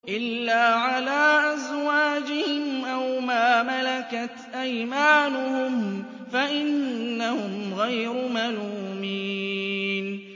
إِلَّا عَلَىٰ أَزْوَاجِهِمْ أَوْ مَا مَلَكَتْ أَيْمَانُهُمْ فَإِنَّهُمْ غَيْرُ مَلُومِينَ